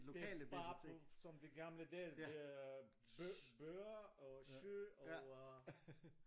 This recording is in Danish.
Det bare på som de gamle dage det er bøger og schy og øh